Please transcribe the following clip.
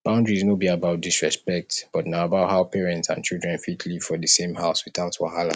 boundaries no be about disrespect but na about how parents and children fit live for the same house without wahala